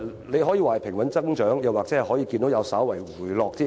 你可以說私家車增長平穩，數字甚至已稍為回落。